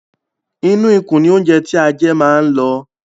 Inú ikùn ní óńjẹ tí a jẹ máa ń lọ.